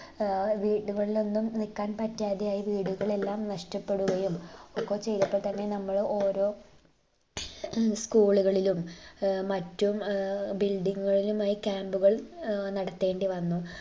ഏർ വീടുകളിലൊന്നും നില്ക്കാൻ പറ്റാതെയായി വീടുകളെല്ലാം നഷ്ടപ്പെടുകയും ഒക്കെ ചെയ്തപ്പോ തന്നെ നമ്മൾ ഓരോ school ളുകളിലും മറ്റും ഏർ building ങ്ങുകളിലുമായി camp ഉകൾ ഏർ നടത്തേണ്ടിവന്നു